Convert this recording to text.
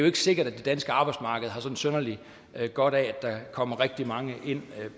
ikke sikkert at det danske arbejdsmarked har sådan synderlig godt af at der kommer rigtig mange ind